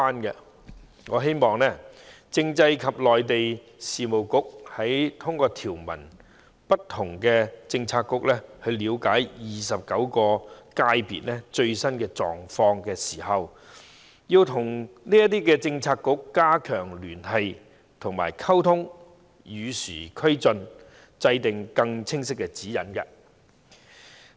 因此，我希望政制及內地事務局通過不同政策局了解29個界別的最新狀況時，要與這些政策局加強聯繫及溝通，與時俱進，制訂更清晰的指引。